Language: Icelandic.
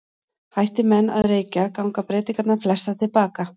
Hætti menn að reykja ganga breytingarnar flestar til baka.